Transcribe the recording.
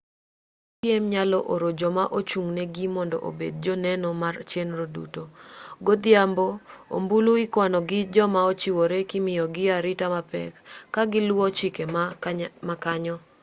jogo mapiem nyalo oro joma ochung'negi mondo obed joneno mar chenro duto godhiambo ombulu ikwano gi joma ochiwore kimiyogi arita mapek ka giluwo chike ma kanyo